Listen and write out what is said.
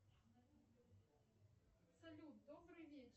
салют добрый вечер